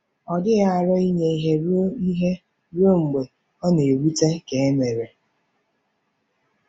Ọ dịghị aro inye ihe ruo ihe ruo mgbe ọ na-ewute ka e mere.